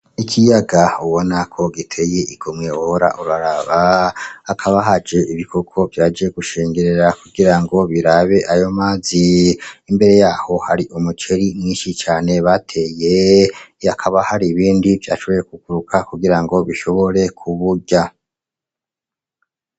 Ikiyaga ubonako giteye igomwe wohora uraraba, hakaba haje ibikoko vyaje gushengerera kugira ngo birabe ayo mazi. Imbere yaho hari umuceri mwinshi cane bateye, hakaba hari ibindi vyashoboye kuguruka kugira ngo bishobore kuwurya.